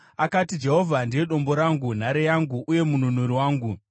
Akati: “Jehovha ndiye dombo rangu, nhare yangu uye mununuri wangu;